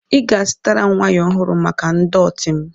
Ị ga-azụtara m waya ọhụrụ maka ndọtị m.